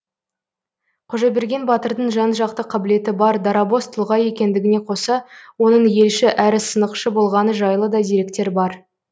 қожаберген батырдың жан жақты қабілеті бар дарабоз тұлға екендігіне қоса оның елші әрі сынықшы болғаны жайлы да деректер бар